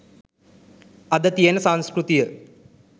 අද තියෙන සංස්කෘතිය.